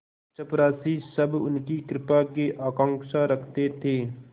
चपरासीसब उनकी कृपा की आकांक्षा रखते थे